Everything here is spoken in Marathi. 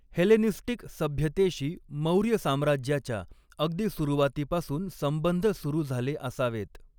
हेलेनिस्टिक सभ्यतेशी, मौर्य साम्राज्याच्या अगदी सुरुवातीपासून संबंध सुरू झाले असावेत.